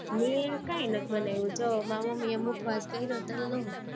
મેં કઈ નથી બનાવું, જો મારી મમ્મી એ મુખવાસ કરો તલનો